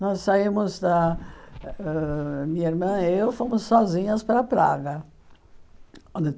Nós saímos da... ãh Minha irmã eu fomos sozinhas para Praga.